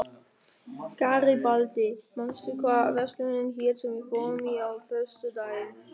Garibaldi, manstu hvað verslunin hét sem við fórum í á föstudaginn?